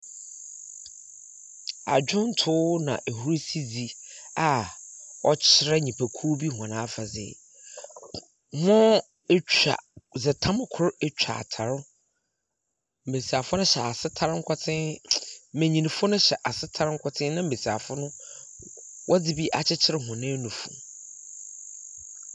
Adwomtow na ahurusidzi a ɔkyerɛ nnyipakuw bi hɔn afadze. Hɔn atwa dze tam kor atwa atar. Mbesiafo hyɛ asetar nkotsen, Mbenyinfo no hyɛ asetar nkotsen na mbesiafo no wɔdze bi akyekyer hɔn anufu.